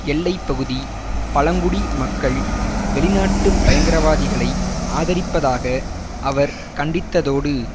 எல்லை பகுதி பழங்குடி மக்கள் வெளிநாட்டு பயங்கரவாதிகளை ஆதரிப்பதாக அவர் கண்டித்ததோடு